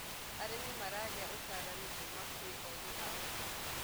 arĩmi maragia utaranĩ kuma kwi ogi a ũrĩmi